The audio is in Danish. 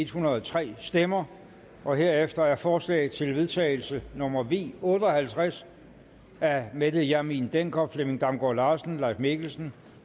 hundrede og tre stemmer herefter er forslag til vedtagelse nummer v otte og halvtreds af mette hjermind dencker flemming damgaard larsen leif mikkelsen